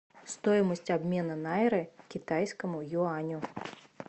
стоимость обмена найры к китайскому юаню